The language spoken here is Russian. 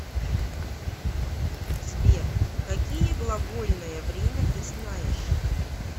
сбер какие глагольное время ты знаешь